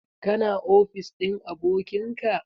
Ka na ofis ɗin abokin ka?